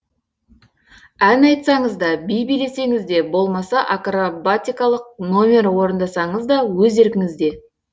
ән айтсаңыз да би билесеңіз де болмаса акробатикалық нөмір орындасаңыз да өз еркіңізде